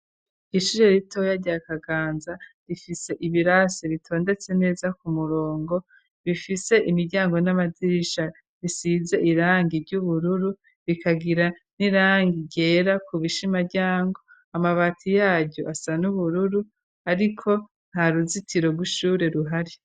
Ishure ritoya rya kaganza ,rifise ibirasi bitondetse neza ku murongo ,bifise imiryango n'amadirisha ,risize irangi ry'ubururu ,bikagira n'irangi ryera ku bishimaryango, Amabati yaryo asa n'ubururu ,ariko nta ruzitiro rw'ishure ruhari.